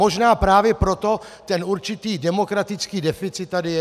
Možná právě proto ten určitý demokratický deficit tady je.